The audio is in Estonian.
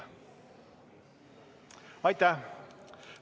Aitäh!